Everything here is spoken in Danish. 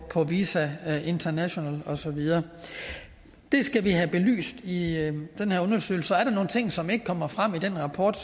visa international og så videre det skal vi have belyst i den her undersøgelse og er der nogle ting som ikke kommer frem i den rapport